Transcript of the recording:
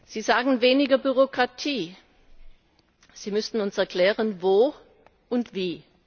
Sie sagen weniger Bürokratie. Sie müssten uns erklären, wo und wie.